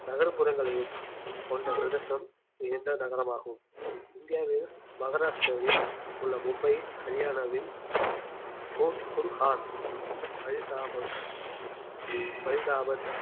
நகர்ப்புறங்களையும் கொண்ட பிரதேசம் இணைந்த நகரமாகும் இந்தியாவில் மகாராஷ்டிராவில் உள்ள மும்பை ஹரியானாவில் குர்~ குர்ஹான் பரிதாபாத் பரிதாபாத்